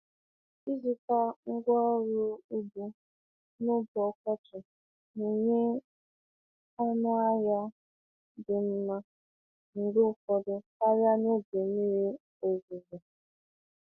Ịzụta ngwaọrụ ugbo n'oge ọkọchị na-enye ọnụ ahịa dị mma mgbe ụfọdụ karịa n'oge mmiri ozuzo.